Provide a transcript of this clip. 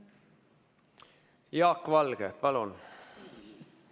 Jaak Valge, palun!